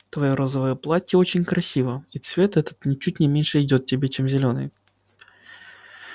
твоё розовое платье очень красиво и цвет этот ничуть не меньше идёт тебе чем зелёный